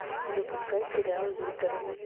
запускай сериал лютер